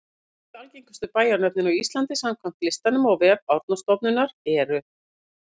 Tíu algengustu bæjarnöfnin á Íslandi samkvæmt listanum á vef Árnastofnunar eru: